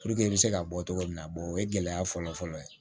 i bɛ se ka bɔ cogo min na o ye gɛlɛya fɔlɔfɔlɔ ye